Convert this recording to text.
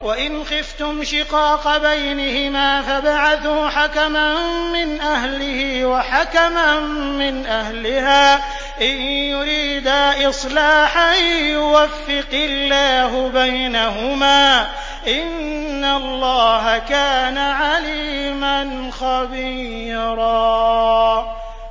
وَإِنْ خِفْتُمْ شِقَاقَ بَيْنِهِمَا فَابْعَثُوا حَكَمًا مِّنْ أَهْلِهِ وَحَكَمًا مِّنْ أَهْلِهَا إِن يُرِيدَا إِصْلَاحًا يُوَفِّقِ اللَّهُ بَيْنَهُمَا ۗ إِنَّ اللَّهَ كَانَ عَلِيمًا خَبِيرًا